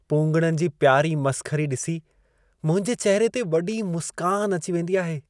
पूंगड़नि जी प्यारी मसख़री ॾिसी मुंहिंजे चहिरे ते वॾी मुस्कान अची वेंदी आहे!